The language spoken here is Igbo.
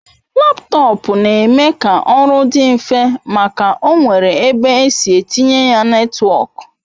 Laptọọpụ na-eme ka oru di nfe maka o nwere ebe esi etinye ya netwọk